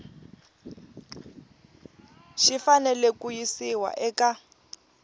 xi fanele ku yisiwa eka